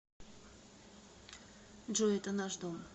джой это наш дом